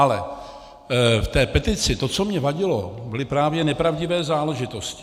Ale v té petici, to co mě vadilo, byly právě nepravdivé záležitosti.